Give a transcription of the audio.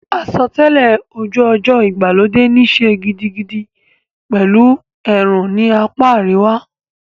Àsotẹ́lẹ̀ ojú ọjọ́ ìgbàlódé níí ṣe gidigidi pẹ̀lú ẹ̀rùn ní apá àríwá.